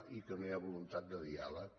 i que no hi ha voluntat de diàleg